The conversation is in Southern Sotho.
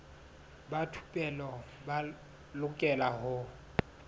ba thupelo ba lokela ho